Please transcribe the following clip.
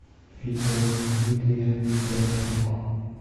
видео дмитрия дьяченко